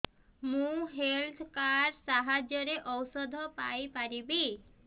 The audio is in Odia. ମୁଁ ହେଲ୍ଥ କାର୍ଡ ସାହାଯ୍ୟରେ ଔଷଧ ପାଇ ପାରିବି